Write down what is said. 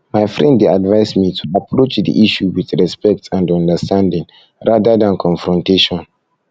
my friend dey advise me to approach the issue with respect and understanding rather than confrontation than confrontation